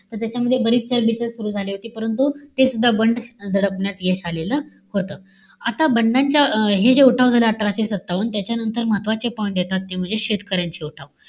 त त्याच्यामध्ये बरीच चलबिचल सुरु झाली होती परंतु ते सुद्धा बंड दडपण्यामध्ये यश आलेलं होतं. आता बंडाच्या हे जे उठाव झाले, अठराशे सत्तावन्न त्याच्यानंतर महत्वाचे point येतात ते म्हणजे शेतकऱ्यांचे उठाव.